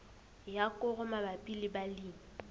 ya koro mabapi le balemi